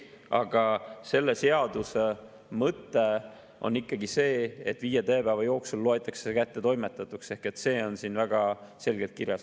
Aga selle seaduse mõte on ikkagi see, et viie tööpäeva jooksul loetakse kättetoimetatuks, see on siin väga selgelt kirjas.